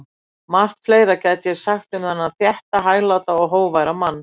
Margt fleira gæti ég sagt um þennan þétta, hægláta og hógværa mann.